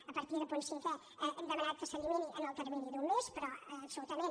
a partir del punt cinquè hem demanat que s’elimini en el termini d’un mes però absolutament